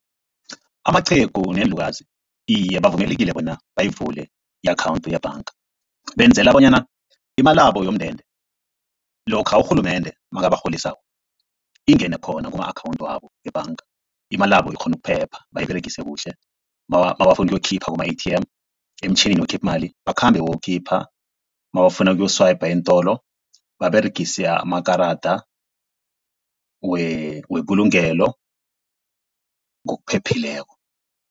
Amaqhegu neenlukazi iye bavumelekile bona bayivule i-akhawunthu yebhanga. Benzela bonyana imalabo yomndende lokha urhulumende nakabarholisako ingene khona kuma-akhawunthu wabo ebhanga. Imalabo ikghone ukuphepha bayiberegise kuhle nabafuna ukuyokukhipha kuma-A_T_M emtjhinini okhipha imali, bakhambe bayokukhipha, nabafuna ukuyo-swiper eentolo baberegise amakarada webulungelo ngokuphephileko.